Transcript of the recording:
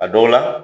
A dɔw la